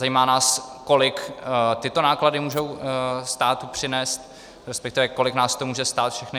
Zajímá nás, kolik tyto náklady můžou státu přinést, respektive kolik nás to může stát všechny.